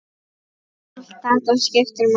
Allt þetta skiptir máli.